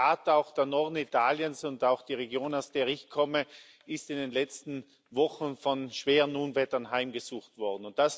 Ja, in der Tat, auch der Norden Italiens und auch die Region, aus der ich komme ist in den letzten Wochen von schweren Unwettern heimgesucht worden.